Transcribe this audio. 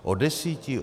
O deseti?